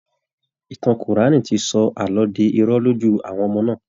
Ìtàn Kùránì ti sọ àlọ́ di irọ́ lójú àwọn ọmọ náà